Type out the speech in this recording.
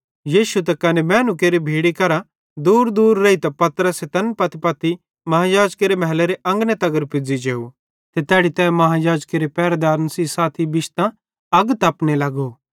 यीशु त कने मैनू केरि भीड़ी केरा दूरदूर रेइतां पतरस तैन पत्तीपत्ती महायाजकेरे महलेरे अंगने तगर पुज़्ज़ी जेव ते तैड़ी तै महायाजकेरे पैरदारे सेइं साथी बिश्तां अग तपने लगो